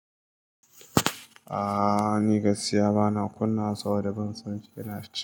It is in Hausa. Aaa ni gaskiya bana kunawa sabo da ban san shi yana shi.